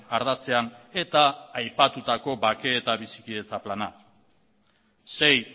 ardatzean eta aipatutako bake eta bizikidetza plana sei